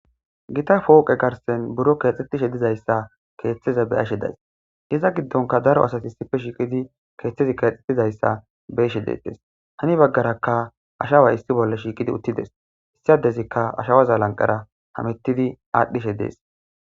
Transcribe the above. Gita pooqe garsen buro keexxetishe dizayssa keeththeza be ashe days iza giddonka daro asati issife shiiqidi keeththezi keexetizayssa beeshe deetes hani baggarakka ashawa issi bolla shiiqidi uttides issadezikka ashawaza lanqara hamettidi aadhdhishe dees.